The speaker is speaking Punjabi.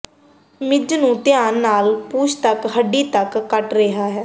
ਮਿੱਝ ਨੂੰ ਧਿਆਨ ਨਾਲ ਪੂਛ ਤੱਕ ਹੱਡੀ ਤੱਕ ਕੱਟ ਰਿਹਾ ਹੈ